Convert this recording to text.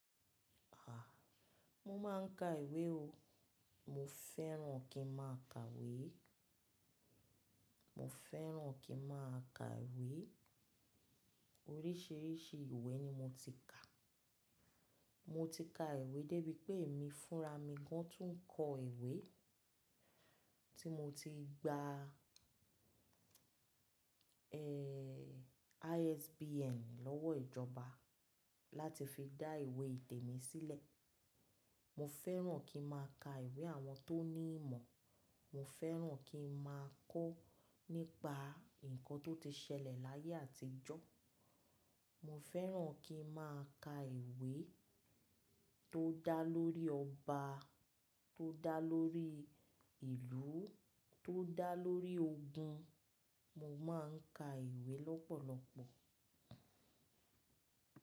À, mo máa ń ka ìwé o. Mo fẹ́ràn kí n máa ka ìwé. Mo fẹ́ràn kí n máa ka ìwé. Oríṣiríṣi ìwé ni mo ti kà. Mo ti ka ìwé débi pé èmi fúnra mi gan tún ń kọ ìwé tí mo ti gba, ẹ́, ISBN lọ́wọ́ ìjọba láti fi dá ìwé ìtẹ̀ mi sílẹ̀. Mo fẹ́ràn kí n máa ka ìwé àwọn tó ní ìmọ̀. Mo fẹ́ràn kí n máa kó nípa nǹkan tó ti ṣẹlẹ̀ láyé àtijọ́. Mo fẹ́ràn kí n máa ka ìwé tó dá lórí ọba, tó dá lórí ìlú, tó dá lórí ogun. Mo máa ń ka ìwé lọ́pọ̀lọpọ̀.